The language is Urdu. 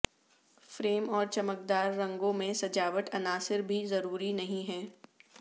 فریم اور چمکدار رنگوں میں سجاوٹ عناصر بھی ضروری نہیں ہیں